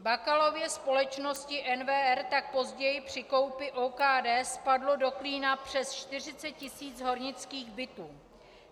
Bakalově společnosti NVR tak později při koupi OKD spadlo do klína přes 40 tisíc hornických bytů.